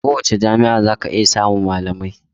A kowace jami'a zaka iya samun malamai.